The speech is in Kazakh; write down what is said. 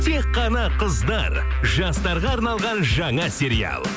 тек қана қыздар жастарға арналған жаңа сериал